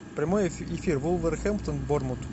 прямой эфир вулверхэмптон борнмут